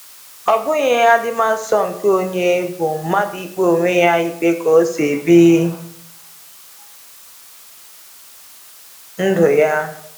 Ọ bụghị adimasọ nke onye, bụ mmadụ ikpe onwe ya ikpe ka o si ebi ndụ ya.